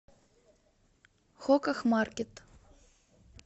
хуках маркет